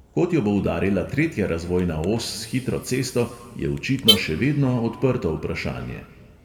Kod jo bo udarila tretja razvojna os s hitro cesto, je očitno še vedno odprto vprašanje.